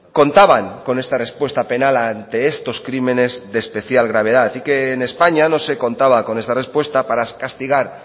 contaban con esta respuesta penal ante estos crímenes de especial gravedad y que en españa no se contaba con esta respuesta para castigar